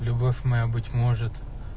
любовь моя быть может